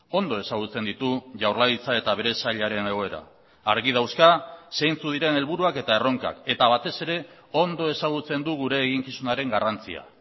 ondo ezagutzen ditu jaurlaritza eta bere sailaren egoera argi dauzka zeintzuk diren helburuak eta erronkak eta batez ere ondo ezagutzen du gure eginkizunaren garrantzia